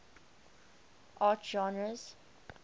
art genres